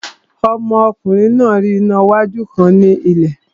Ọmọkùnrin náà rí iná wájú kan ní ilẹ̀